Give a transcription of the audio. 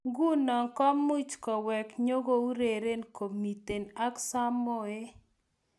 Nguno kumuch kowek nyikoureren komitei ak samoei.